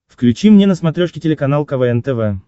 включи мне на смотрешке телеканал квн тв